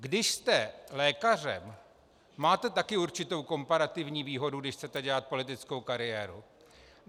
Když jste lékařem, máte také určitou komparativní výhodu, když chcete dělat politickou kariéru.